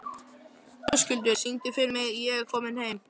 Höskuldur, syngdu fyrir mig „Ég er kominn heim“.